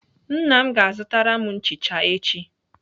Nna m ga-azụtara m nchicha echi.